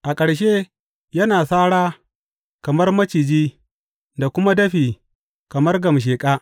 A ƙarshe yana sara kamar maciji da kuma dafi kamar gamsheƙa.